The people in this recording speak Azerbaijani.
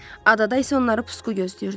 Adada isə onları pusqu gözləyirdi.